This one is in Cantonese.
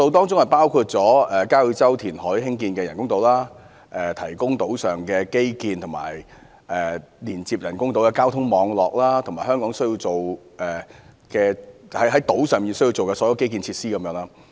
造價包括交椅洲填海興建的人工島、為島上提供基建及連接人工島的交通網絡，以及所有需要在島上興建的基建設施等。